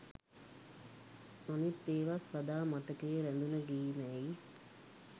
අනිත් ඒවත් සදා මතකයේ රැඳුන ගී මැයි